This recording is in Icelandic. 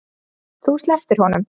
Þú slepptir honum.